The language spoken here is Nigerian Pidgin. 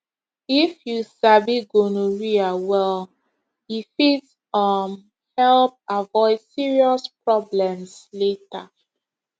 if you sabi gonorrhea well e fit um help avoid serious problems later